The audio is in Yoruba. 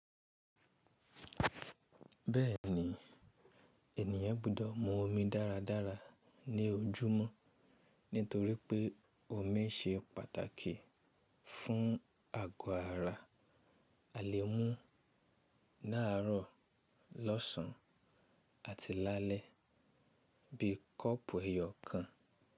Bẹ́ẹ̀ni, ènìyàn gbọ́dọ̀ mu omi dáradára ní ojúmọ́ nítorí pé omi ṣe pàtàkì fún àgọ́ ara. A lè mú láàrọ̀, lọ́sàn àti lálẹ́ bí kọ́ọ̀pù ẹyọ kan.